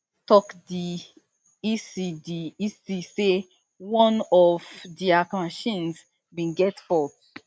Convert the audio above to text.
tok di ec di ec say one of dia machines bin get fault